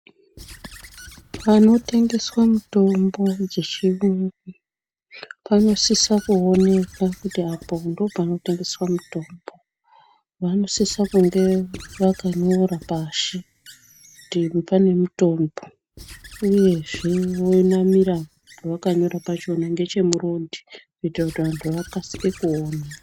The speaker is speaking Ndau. Panotengeswa mutombo dzechiyungu panosisa kuoneka kuti apo ndopanotengeswa mutombo vanosisa kunge vakanyora pashi kuti pane mitombo uyezve vonamira pavakanyora pachona ngechemurodhi kuite kuti vantu akasike kuona .